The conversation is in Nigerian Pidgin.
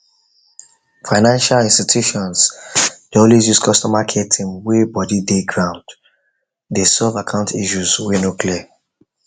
financial institutions dey always use customer care team whey body dey dey ground dey solve account issues whey no clear